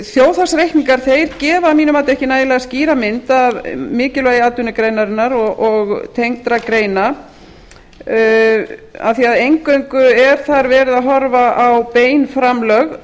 þjóðhagsreikningar gefa að mínu mati ekki nægilega skýra mynd af mikilvægi atvinnugreinarinnar og tengdra greina af því að eingöngu er þar verið að horfa á bein framlög